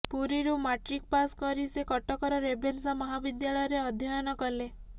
ପୁରୀରୁ matric pass କରି ସେ କଟକର ରେଭେନ୍ସା ମହାବିଦ୍ୟାଳୟରେ ଅଧ୍ୟୟନ କଲେ